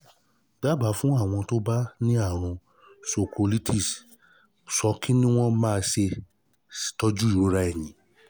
daba fún um àwọn tó bá um ní àrùn sacroiliitis ṣo ki ni wọ́n um máa se tọ́jú ìrora ẹ̀yìn